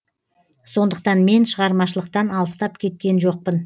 сондықтан мен шығармашылықтан алыстап кеткен жоқпын